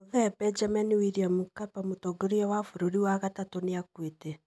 Mũthee Benjamin William Mkapa, Mũtongoria wa gatatũ wa bũrũri nĩ akuĩte.